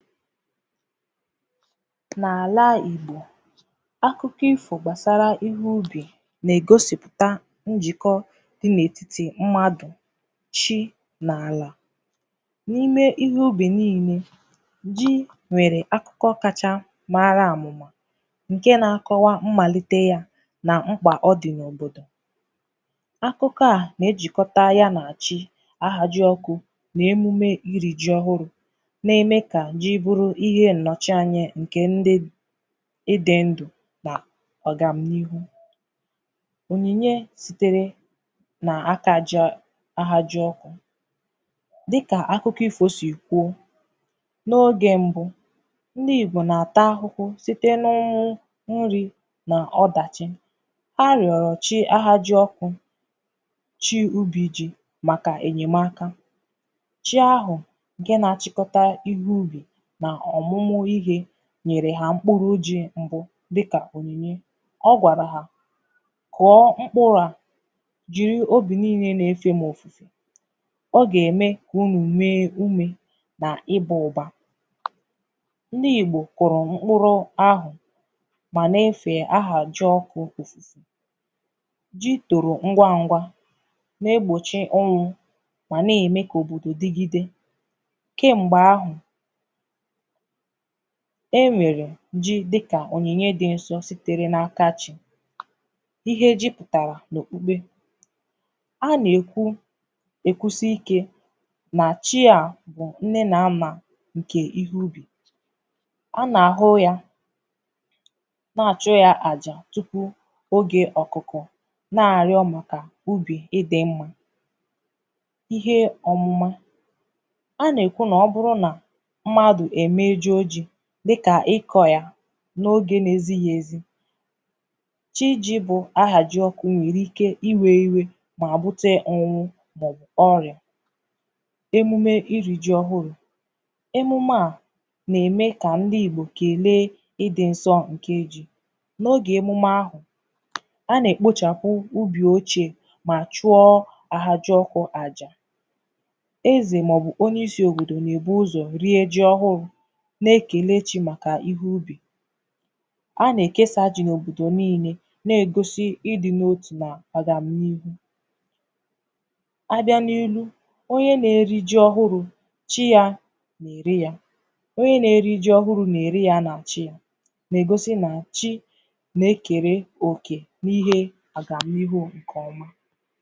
N’alà Igbò akụkọ̀ ifo gbasarà ihe ubì na-egosipụ tà njikọ̀ dị n’etiti mmadụ̀ shii n’alà n’ime ihe ubì niine ji nwere akụkọ̀ kachà maara amụmà nke na-akọwà mmalite yà na m̄kpà ọ dị na ọdọ̀ akụkọ̀ à na-ejikọtà ya na ji ahaji ọkụ na-emume iri ji ọhụrụ̀ na-eme kà ji bụrụ̀ ihe nnọchị̀ anya nke ndị ịdị ndụ̀ na ọgam n’ihu onyinye sitere n’aka ji ọ ahaji ọ dịkà akụkọ̀ ifo si kwuo n’oge mbụ̀ ndị Igbò na-atà ahụhụ sitē n’ụnwụ̀ nrì n’ọdachì arịọrịọ chi ahaji ọkụ chi ubi ji makà enyemakà chi ahụ nke na-achịkọtà ihe ubì n’ọmụmụ ihe nyere ha m̄kpụrụ̀ ji mbụ̀ dịkà onyinyè ọ gwarà hà kụọ m̄kpụrụ à jiri obi niine n’efe m ofufè ọ ga-eme unu nwe ume na ịbà ụbà ndị Igbò kụrụ̀ m̄kpụrụ ahụ ma na-efe ahaji ọkụ o ji toro ngwa ngwà na-egbochì ọnwụ̀ ma na-eme ka òbodò digidè kemgbe ahụ e nwere ji dịkà onyinye dị nsọ sitere n’akà chi ihe ji pụtarà n’okpukpe a na-ekwu ekwusi ike na chi a a bụ̀ nne na nnà nke ihe ubì a na-ahụ yà na-achụ yà àjà tupu oge ọkụkọ̀ na-arịọ̀ makà ubì ịdị mma ihe ọmụmà a na-ekwù na ọ bụrụ̀ nà mmadụ̀ emejo ji dịkà ịkọ yà n’oge na-ezighì ezì chi ji bụ ahaji ọkụ̀ nwere ike iwe iwè ma bute ọnwụ̀ bụ̀ ọrịà emume iri ji ọhụrụ emume à na-eme ka ndị Igbò kele ịdị nsọ nke i n’oge emume ahụ a na-ekpochapù ubì ochè ma chụọọ ahaji ọkụ àjà eze maọ̀bụ̀ onye isi òbodò na-ebu ụzọ̀ rie ji ọhụụ na-ekele chi makà ihe ubì a na-ekesa ji n’òbodò niine na-egosi ịdị n’o tù na agam n’ihu a bịàn’enu onye na-eri ji ọhụrụ chi ya na-ere yà onye na-eri ji ọhụrụ na-eri yà na chi yà na-egosi na chi na-ekere òkē n’ihe agam n’ihu nke ọmà